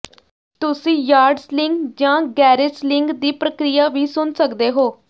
ਤੁਸੀਂ yard selling ਜਾਂ garage selling ਦੀ ਪ੍ਰਕਿਰਿਆ ਵੀ ਸੁਣ ਸਕਦੇ ਹੋ